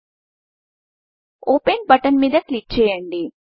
open button మీద click చేయండి